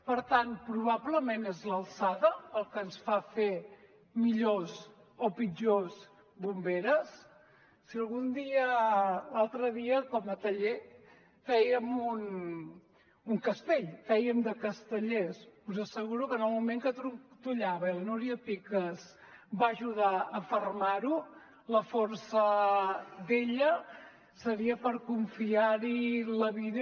per tant probablement és l’alçada el que ens fa fer millors o pitjors bomberes l’altre dia com a taller fèiem un castell fèiem de castellers us asseguro que en el moment que trontollava i la núria picas va ajudar a fermar lo la força d’ella seria per confiar hi la vida